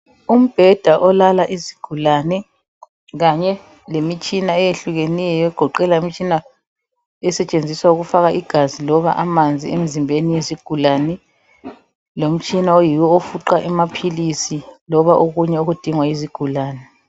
Umbheda olala izigulane kanye lemitshina eyehlukeneyo egoqela imitshina esetshenziswa ukufaka igazi loba amanzi emzimbeni yezigulane lomtshina oyiwo ofuqa amaphilisi loba okunye okudingwa yizigulane .